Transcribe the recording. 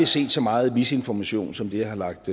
set så meget misinformation som det jeg har lagt